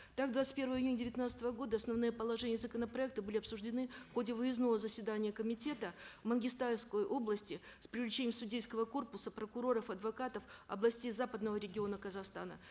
так двадцать первого июня девятнадцатого года основные положения законопроекта были обсуждены в ходе выездного заседания комитета в мангистаускую область с привлечением судейского копуса прокуроров адвокатов областей западного региона казахстана